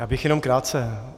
Já bych jenom krátce.